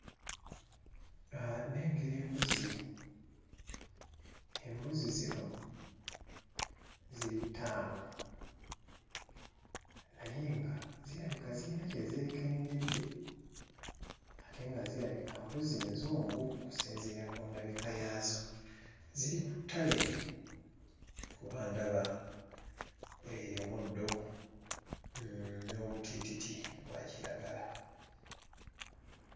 Ah nnengera embuzi. Embuzi zino ziri ttaano. Naye nga zirabika zirina kye zeekengedde. Ate nga zirabika mbuzi nzungu okusinziira ku ndabika yaazo. Ziri ku ttale kuba ndaba omuddo n'obutiititi obwa kiragala.